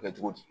Kɛ cogo di